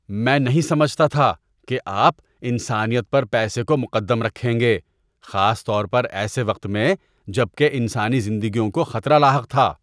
میں نہیں سمجھتا تھا کہ آپ انسانیت پر پیسے کو مقدم رکھیں گے، خاص طور پر ایسے وقت میں جب کہ انسانی زندگیوں کو خطرہ لاحق تھا۔